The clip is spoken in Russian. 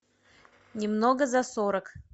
немного за сорок